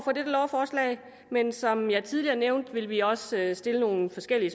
lovforslag men som jeg tidligere nævnte vil vi også stille nogle forskellige